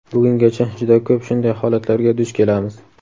Bugungacha juda ko‘p shunday holatlarga duch kelamiz.